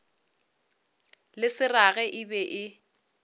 le seraga e be e